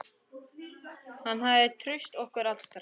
Hún hafði traust okkar allra.